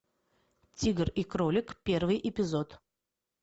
тигр и кролик первый эпизод